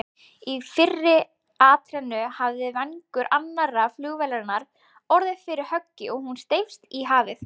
Í fyrri atrennu hafði vængur annarrar flugvélarinnar orðið fyrir höggi og hún steypst í hafið.